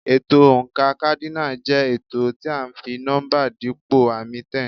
Ètò oǹkà kádínààlì jẹ́ ètò tí à ń fi nọ́mbà dípò àmì 10.